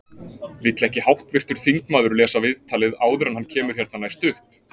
Vill ekki háttvirtur þingmaður lesa viðtalið áður en hann kemur hérna næst upp?